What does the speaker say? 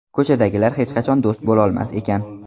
Ko‘chadagilar hech qachon do‘st bo‘lolmas ekan.